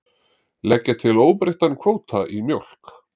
Leggja til óbreyttan kvóta í mjólk